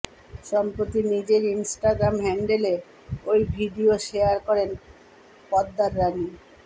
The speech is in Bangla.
সম্প্রতি নিজের ইনস্টাগ্রাম হ্যান্ডেলে ওই ভিডিও শেয়ার করেন পর্দার রানি